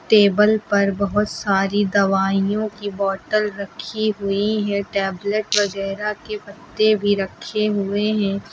Table पर बहोत सारी दवाइयों की बॉटल रखी हुई है टैबलेट वगैरा के पत्ते भी रखे हुए हैं।